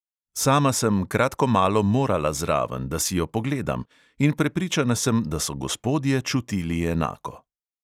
Sama sem kratko malo morala zraven, da si jo pogledam; in prepričana sem, da so gospodje čutili enako.